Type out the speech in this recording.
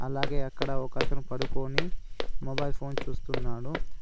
అలాగే అక్కడ ఒకతను పడుకోని మొబైల్ ఫోన్ చూస్తున్నాడు.